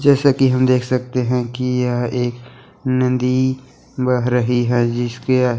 जैसा की हम देख सकते हैं की यह एक नदी बह रही है जिसके --